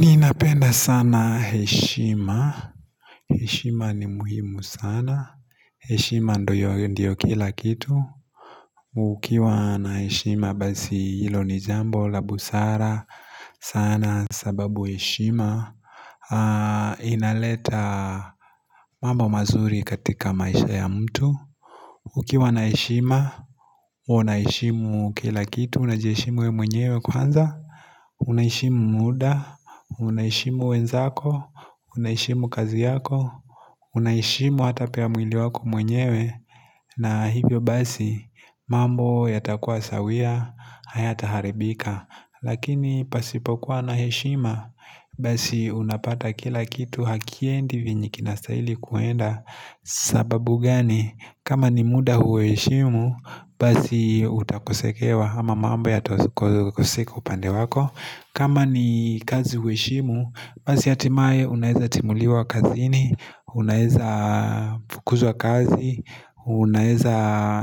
Ninapenda sana heshima heshima ni muhimu sana heshima ndio kila kitu Ukiwa na heshima basi hilo ni jambo la busara sana sababu heshima Inaleta mambo mazuri katika maisha ya mtu Ukiwa na heshima uwe Unaheshimu kila kitu Unajiheshimu we mwenyewe kwanza Unaheshimu muda Unaheshimu wenzako Unaheshimu kazi yako Unaheshimu hata pia mwili wako mwenyewe na hivyo basi mambo yatakuwa sawia Hayata haribika Lakini pasipokuwa na hshima Basi unapata kila kitu Hakiendi vinye kinastahili kuenda sababu gani kama ni muda huheshimu Basi utakosekewa ama mambo yatako koseko upande wako kama ni kazi huheshimu Basi hatimaye, unaeza timuliwa kazini, unaeza fukuzwa kazi, unaeza,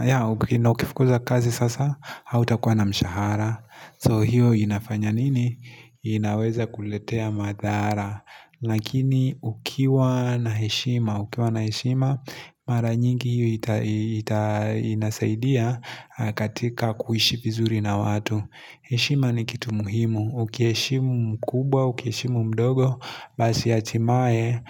ya, na ukifukuzwa kazi sasa, hautakuwa na mshahara So hiyo inafanya nini? Inaweza kuletea madhara Lakini ukiwa na heshima, ukiwa na heshima, mara nyingi hiyo ita inasaidia katika kuishi vizuri na watu heshima ni kitu muhimu, uki heshimu mkubwa, uki heshimu mdogo, basi hatimaye,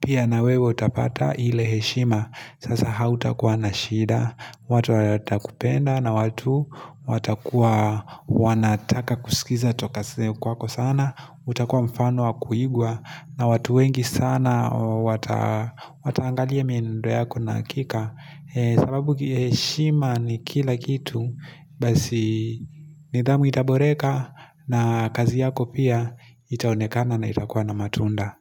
pia na wewe utapata ile heshima Sasa hautakuwa na shida, watu watakupenda na watu watakuwa wanataka kusikiza tokase kwako sana utakuwa mfano wa kuigwa na watu wengi sana wataangalia mienendo yako na hakika sababu kiheshima ni kila kitu basi nidhamu itaboreka na kazi yako pia itaonekana na itakua na matunda.